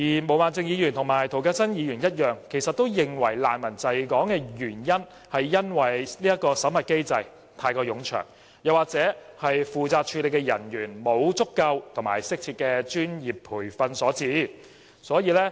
毛孟靜議員和涂謹申議員一樣，認為難民滯港的原因是審核機制太過冗長，又或負責處理的人員沒有足夠和適切的專業培訓所致。